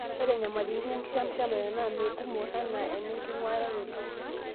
Ore nyamalaritin enkishamishamare naa mekumok anaa nenkinguaroto.